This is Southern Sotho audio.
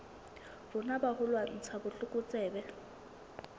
rona ba ho lwantsha botlokotsebe